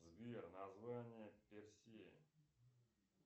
сбер название персея